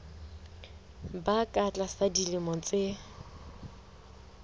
ba ka tlasa dilemo tse